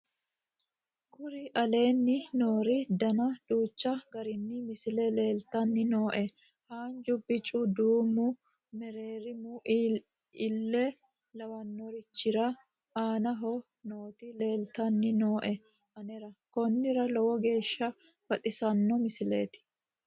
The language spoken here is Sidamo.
kuri aleenni nooori dana duuchu gari misile leeltanni nooe haanju bicu duumu mereerimu ille lawannorichira aanaho nooti leeltanni nooe anera konnira lowo geeshsha baxissanno misileeti